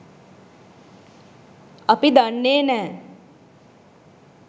අපි දන්නේ නැහැ.